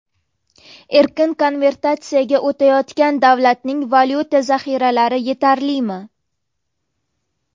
Erkin konvertatsiyaga o‘tayotgan davlatning valyuta zaxiralari yetarlimi?